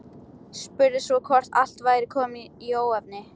Spurði svo hvort allt væri komið í óefni.